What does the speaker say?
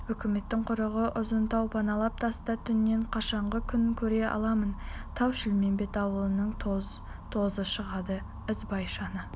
үкіметтің құрығы ұзын тау паналап таста түнеп қашанғы күн көре аламын тау-шілмембет ауылының тоз-тозы шығады ізбайшаны